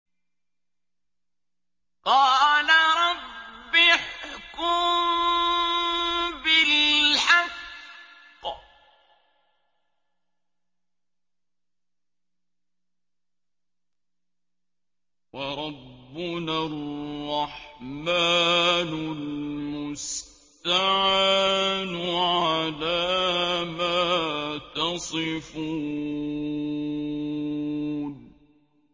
قَالَ رَبِّ احْكُم بِالْحَقِّ ۗ وَرَبُّنَا الرَّحْمَٰنُ الْمُسْتَعَانُ عَلَىٰ مَا تَصِفُونَ